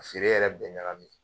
A feere yɛrɛ bɛɛ ɲagamin